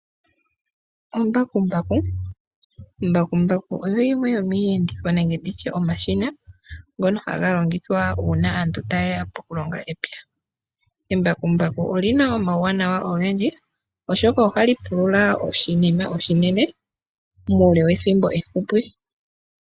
Embakumbaku, embakumbaku olyo limwe lyomiiyenditho nenge omashina ngono haga longithwa uuna aantu taye ya poku longa epya. Embakumbaku olyina omauwanawa ogendji oshoka Ohali pulula oshinima oshinene muule wethimbo efupi.